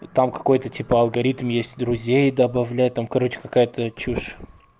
там какой-то типа алгоритм есть друзей добавляй там короче какая-то чушь